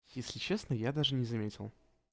если честно я даже не заметил